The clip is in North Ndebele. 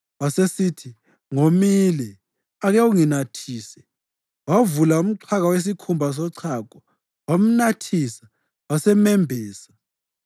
Wasesithi, “Ngomile. Ake unginathise.” Wavula umxhaka wesikhumba sochago, wamnathisa, wasemembesa.